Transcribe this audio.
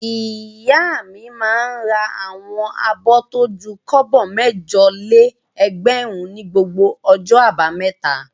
Ìyá mi máa ń ra àwọn abọ́ tó ju kọ́bọ̀ mẹ́jọ-lé-ẹgbẹ̀rún ní gbogbo ọjọ́ àbámẹ́ta.